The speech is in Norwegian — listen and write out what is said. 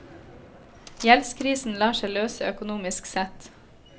Gjeldskrisen lar seg løse økonomisk sett.